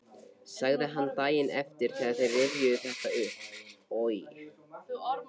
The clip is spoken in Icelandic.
sagði hann daginn eftir þegar þeir rifjuðu þetta upp: Oj!